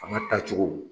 An ka taa cogo